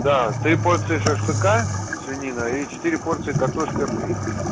даты три порции шашлыка свинина и четыре порции картошка фри